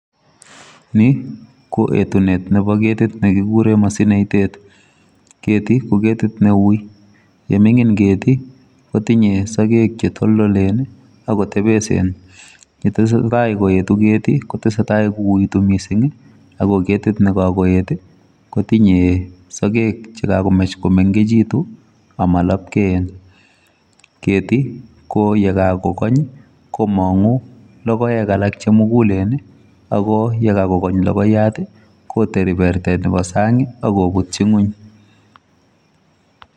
Niii koetunet ap ketit nekikureen masinaitet etuuu ketii KO keti ngoeet kmanguu sageek chemengecheeen kokakoeet